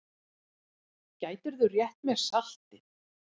Gætirðu rétt mér saltið?